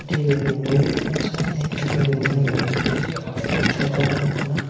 ebibai rongui toma sati haike urain tango ushob rok wngka na.